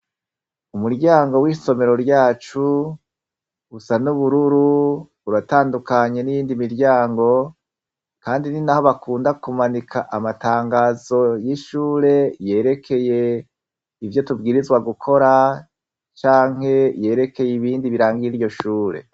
Umuryango w' isomero ryacu, usa n' ubururu, uratandukanye n' iyindi miryango, kandi ninaho bakunda kumanika amatangazo y' ishure yerekeye ivyo tubewirizwa gukora canke ibindi biranga iryo shure.